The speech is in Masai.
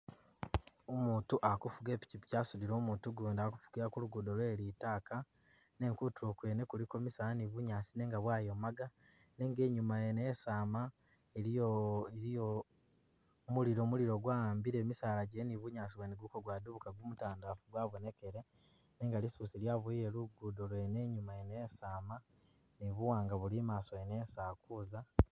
Umutu ali kufuga i'pikyipikyi asudile umutu gundi ali kufugila kulugudo kwe litaaka nenga kutulo kwene kuliko misaala ni bunyaasi nenga bwayomaga nenga inyuma yene yesi ama iliyo iliyo mulilo ,mulilo gwawambile misaala gyene ni bunyaasi bwene buli kwabwadulukka gumutandalafu gwabonekele nenga lisusi lyaboyele lugudo lwene inyuma yene yesi ama ,ni buwanga buli imaso yene isi alikuza